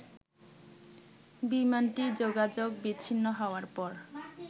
বিমানটি যোগাযোগ বিচ্ছিন্ন হওয়ার পর